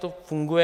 To funguje.